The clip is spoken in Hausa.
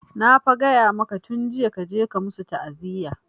Na fa gaya maka tun jiya kaje ka musu ta'aziya!